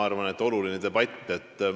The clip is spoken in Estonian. Ma arvan, et see on oluline debatt.